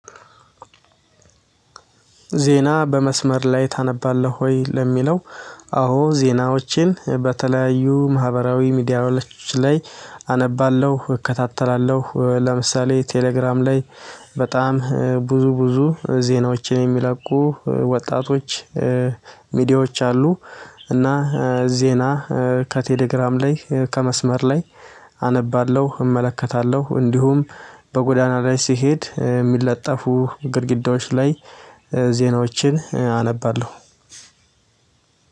ዜና በመስመር ላይ ታነባለህ ወይ? ለሚለው አዎ ዜናዎችን በተለያዩ ማህበራዊ ሚዲያዎች ላይ አነባለሁ እከታተላለሁ ለምሳሌ ቴሌግራም ላይ በጣም ብዙ ብዙ ዜናዎችን የሚለቁ ወጣቶች ሚዲያዎች አሉ። እና ዜና ከቴሌግራም ላይ ከመስመር ላይ አነባለሁ እመለከታለሁ። እንዲሁም በጎዳና ላይ ስሄድ የሚለጠፉ ግድግዳዎች ላይ ዜናዎችን አነባለሁ